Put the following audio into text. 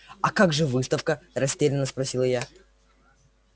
а как же выставка растерянно спросила я